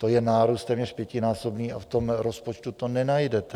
To je nárůst téměř pětinásobný a v tom rozpočtu to nenajdete.